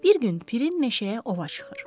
Bir gün Pirim meşəyə ova çıxır.